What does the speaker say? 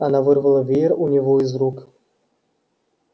она вырвала веер у него из рук